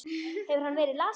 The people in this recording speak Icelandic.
Hefur hann verið lasinn?